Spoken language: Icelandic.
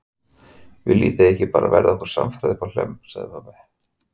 Viljið þið bara ekki verða okkur samferða uppá Hlemm, sagði pabbi.